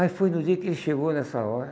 Aí foi no dia que ele chegou nessa hora.